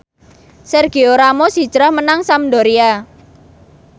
Sergio Ramos hijrah menyang Sampdoria